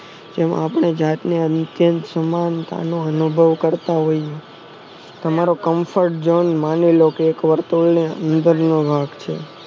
જેમાં આપણે જાતને અનુકેત સમાન તાનો અનુભવ કરતા હોઈએ તમારો confront જોન માંનીલો કે વર્તુળ નો અંદર નો ભાગ છે